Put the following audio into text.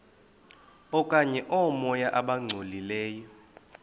okanye oomoya abangcolileyo